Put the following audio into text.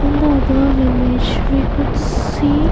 In the above image we could see --